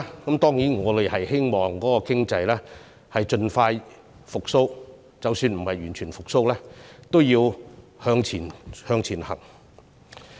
我們當然希望經濟盡快復蘇，而即使經濟未能完全復蘇，我們仍要向前走。